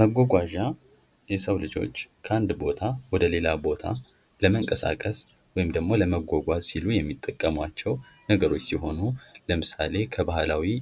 መጓጓዣ የሰው ልጆች ከአንድ ቦታ ወደ ሌላ ቦታ ለምንቀሳቀስ ወይም ደግሞ ለመጓጓዝ ሲሉ የሚጠቀማቸው ነገሮች ሲሆኑ ለምሳሌ ከባህላዊ